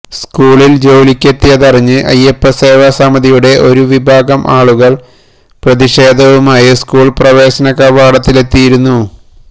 സ്കൂളിൽ ജോലിക്കെത്തിയതറിഞ്ഞ് അയ്യപ്പസേവാസമിതിയുടെ ഒരു വിഭാഗം ആളുകൾ പ്രതിഷേധവുമായി സ്കൂൾ പ്രവേശനകവാടത്തിലെത്തിയിരുന്നു